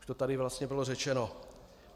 Už to tady vlastně bylo řečeno.